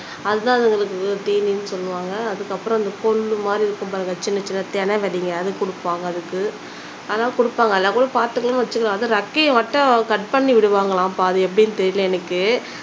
அது தான் அதுகளுக்கு தீனின்னு சொல்லுவாங்க அதுக்கப்புறம் இந்த புல்லு மாதிரி இருக்கும் பாருங்க சின்ன சின்ன திணை விதைங்க அது குடுப்பாங்க அதுக்கு அதெல்லாம் குடுப்பாங்க இல்லேனா கூட பாத்துக்கலாம்னு வச்சுக்கலாம் அது ரெக்கைய ஒட்ட கட் பண்ணி விடுவாங்களாம் பாதி எப்படின்னு தெரியல எனக்கு